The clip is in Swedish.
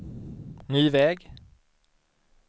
ny väg